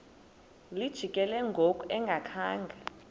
lijikile ngoku engakhanga